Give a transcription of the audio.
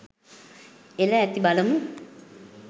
එල ඇති බලමු